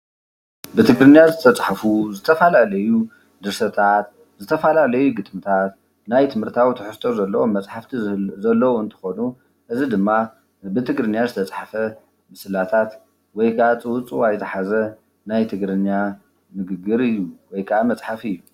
ብትግርኛ ዝተፃሓፉ ዝተፈላለዩ ድርሰታት ፣ዝተፈላለዩ ግጥምታት ናይ ትምህርታዊ ትሕዝቶ ዘለዎም መፅሓፍቲ ዘለዎ እንትኾኑ እዚ ድማ ብትግርኛ ዝተፀሓፈ ምስላታት ወይ ከዓ ፅውፅዋይ ዝሓዘ ናይ ትግርኛ ንግግር እዩ ወይ ከዓ መፅሓፍ እዩ፡፡